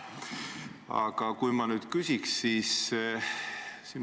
Aga küsin sellist asja.